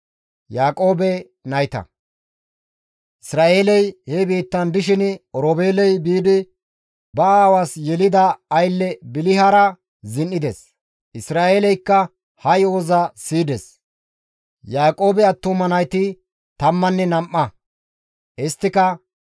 Isra7eeley he biittan dishin Oroobeeley biidi ba aawaas yelida aylle Bilihara zin7ides; Isra7eeleykka ha yo7oza siyides. Yaaqoobe attuma nayti tammanne nam7a. Isttika,